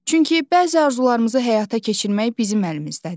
Çünki bəzi arzularımızı həyata keçirmək bizim əlimizdədir.